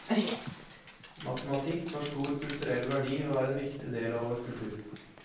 Matematikk har stor kulturell verdi, og er en viktig del av vår kultur.